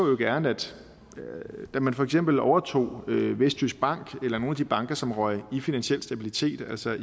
jo gerne at man for eksempel overtog vestjysk bank eller nogle af de banker som røg i finansiel stabilitet altså